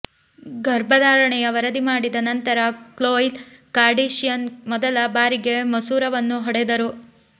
ಗರ್ಭಧಾರಣೆಯ ವರದಿ ಮಾಡಿದ ನಂತರ ಕ್ಲೋಯ್ ಕಾರ್ಡಶಿಯಾನ್ ಮೊದಲ ಬಾರಿಗೆ ಮಸೂರವನ್ನು ಹೊಡೆದರು